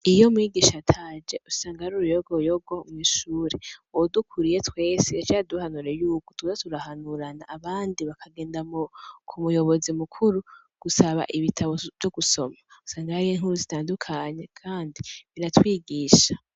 Iyo umwigisha ataje usanga ari uruyogoyogo mw'ishure. Uwudukuriye twese yaciye aduhanura yuko twoza turahanurana, abandi bakagenda ku muyobozi mukuru gusaba ibitabo vyo gusoma, usanga hariyo inkuru zitandukanye kandi biratwigisha